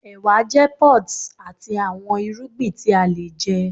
ewa jẹ pods ati awọn irugbin ti a le jẹ